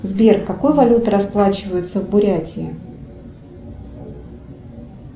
сбер какой валютой расплачиваются в бурятии